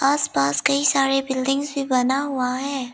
आस पास कई सारे बिल्डिंग्स भी बना हुआ है।